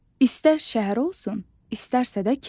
İstər şəhər olsun, istərsə də kənd.